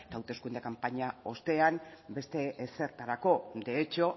hauteskunde kanpaina ostean beste ezertarako de hecho